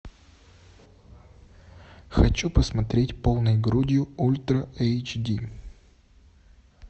хочу посмотреть полной грудью ультра эйч ди